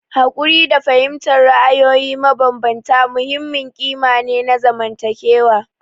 Haƙuri da fahimtar ra'ayoyi mabambanta muhimmin ƙima ne na zamantakewa.